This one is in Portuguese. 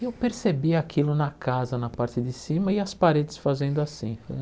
E eu percebi aquilo na casa, na parte de cima, e as paredes fazendo assim.